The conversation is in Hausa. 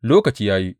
Lokaci ya yi!